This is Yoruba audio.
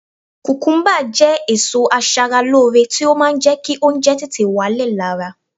Kùkúmúbá jẹ́ èso aṣaralóore tí ó máa ń jẹ́ kí oúnjẹ tètè wálẹ̀ lára